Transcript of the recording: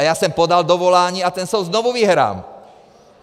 A já jsem podal dovolání a ten soud znovu vyhrám!